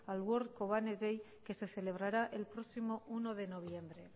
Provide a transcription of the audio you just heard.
al world kobane day que se celebrará el próximo uno de noviembre